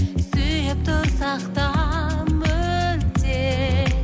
сүйіп тұрсақ та мүлде